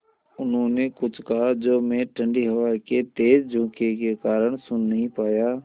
उन्होंने कुछ कहा जो मैं ठण्डी हवा के तेज़ झोंके के कारण सुन नहीं पाया